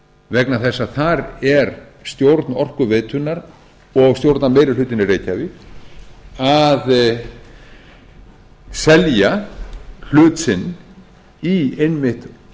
vegna þess að þar er stjórn orkuveitunnar og stjórnarmeirihlutinn í reykjavík að selja hlut sinn í einmitt